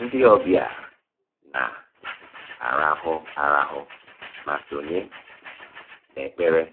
Ndị ọbịa na-arahụ arahụ ma sonye n'ekpere